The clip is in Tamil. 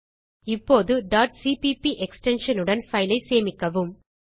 இப்போது cpp extensionஉடன் பைல் ஐ சேமிக்கவும்